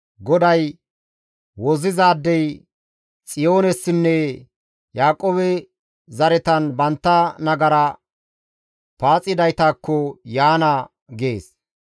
GODAY, «Wozzizaadey Xiyoonessinne Yaaqoobe zaretan bantta nagara paaxidaytakko yaana» gees.